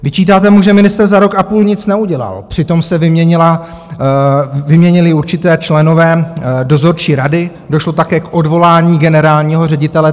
Vyčítáte mu, že ministr za rok a půl nic neudělal, přitom se vyměnili určití členové dozorčí rady, došlo také k odvolání generálního ředitele.